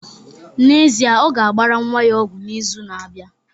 N'ezie, ọ ga-agbara nwa ya ọgwụ n'izu na-abịa